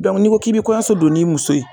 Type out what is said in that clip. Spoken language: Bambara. dɔnku n'i ko k'i be kɔɲɔso don n'i muso ye